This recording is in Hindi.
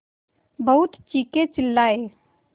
बहुत चीखेचिल्लाये